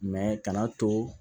kana to